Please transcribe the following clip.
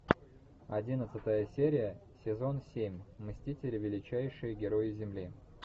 одиннадцатая серия сезон семь мстители величайшие герои земли